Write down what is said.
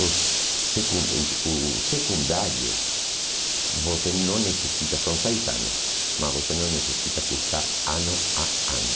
Os secun o o secundário, você não necessita, são seis anos, mas você não necessita cursar ano a ano.